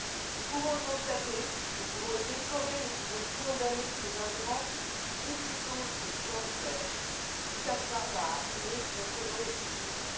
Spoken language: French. Nous pouvons le constater, nous pouvons le déplorer, nous pouvons condamner ces ingérences, ou plutôt ce cancer qui s'acharne à abîmer notre monde libre.